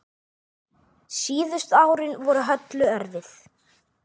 Síðustu árin voru Höllu erfið.